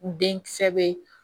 Den kisɛ be